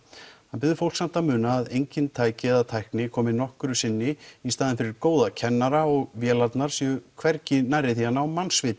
hann biður fólk samt að muna að engin tæki eða tækni komi nokkru sinni í staðinn fyrir góða kennara og vélarnar séu hvergi nærri því að ná